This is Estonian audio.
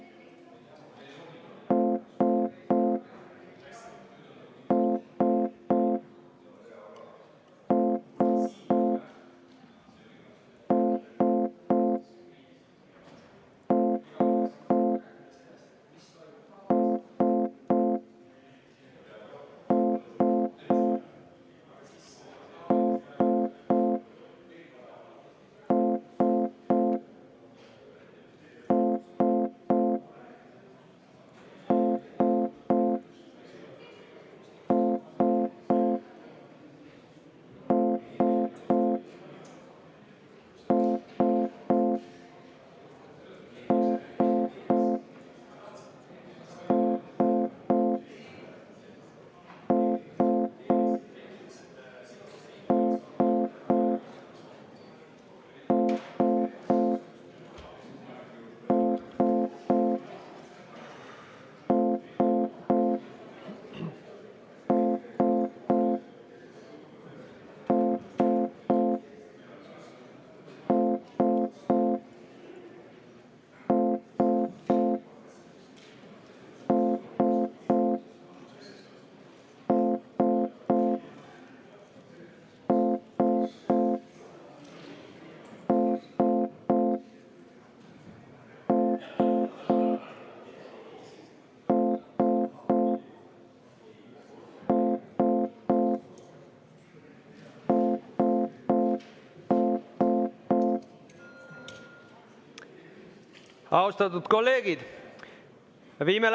Austatud kolleegid!